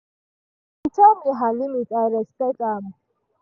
she tell me her limit i respect am.